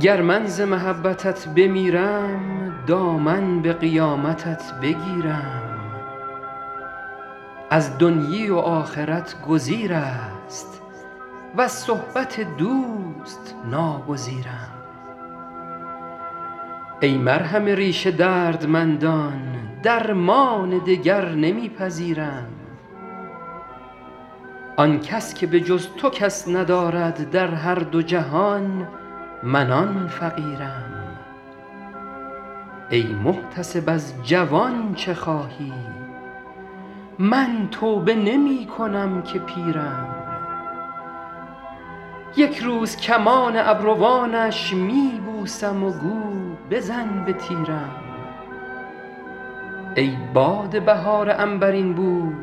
گر من ز محبتت بمیرم دامن به قیامتت بگیرم از دنیی و آخرت گزیر است وز صحبت دوست ناگزیرم ای مرهم ریش دردمندان درمان دگر نمی پذیرم آن کس که به جز تو کس ندارد در هر دو جهان من آن فقیرم ای محتسب از جوان چه خواهی من توبه نمی کنم که پیرم یک روز کمان ابروانش می بوسم و گو بزن به تیرم ای باد بهار عنبرین بوی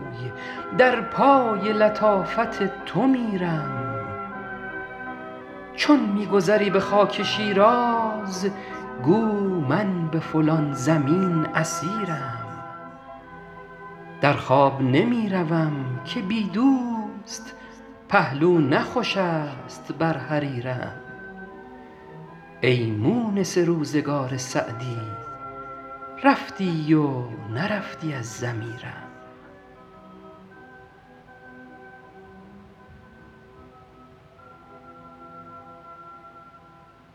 در پای لطافت تو میرم چون می گذری به خاک شیراز گو من به فلان زمین اسیرم در خواب نمی روم که بی دوست پهلو نه خوش است بر حریرم ای مونس روزگار سعدی رفتی و نرفتی از ضمیرم